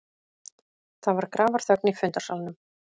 Það var grafarþögn í fundarsalnum.